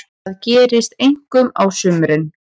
Þetta gerist einkum á sumrin.